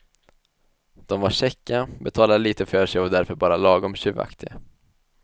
De var käcka, betalade litet för sig och var därför bara lagom tjuvaktiga.